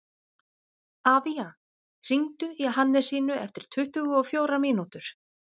Avía, hringdu í Hannesínu eftir tuttugu og fjórar mínútur.